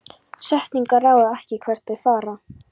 Setningar ráða ekki hvert þær fara.